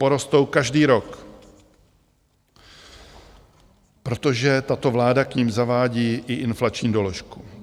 Porostou každý rok, protože tato vláda k nim zavádí i inflační doložku.